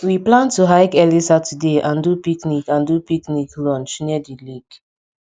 we plan to hike early saturday and do picnic and do picnic lunch near di lake